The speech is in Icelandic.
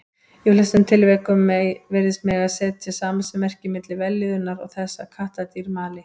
Í flestum tilvikum virðist mega setja samasemmerki milli vellíðunar og þess að kattardýr mali.